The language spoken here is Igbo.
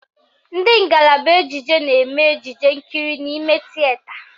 Ndị ngalaba ejije na-eme ejije nkiri n'ime tieta